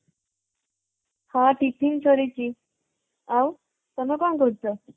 ହଁ tiffin ସରିଛ। ଆଉ ତମେ କ'ଣ କରୁଛ?